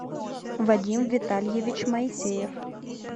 вадим витальевич моисеев